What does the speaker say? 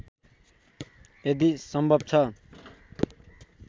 यदि सम्भव छ